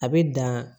A bɛ dan